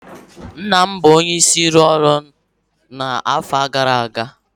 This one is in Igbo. Nna m bụ onyeisi n'ụlọ ọrụ ya n'afọ gara aga